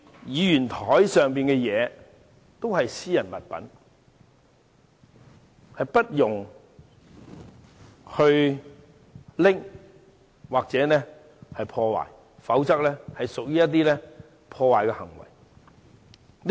議員桌上的物品屬私人物品，其他人不可拿走或破壞，否則即屬違規。